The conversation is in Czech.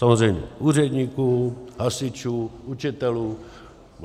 Samozřejmě úředníků, hasičů, učitelů.